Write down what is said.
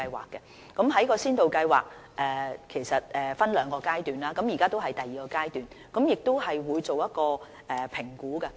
其實這些先導計劃是分兩個階段進行的，現時已是第二階段，我們亦會進行評估。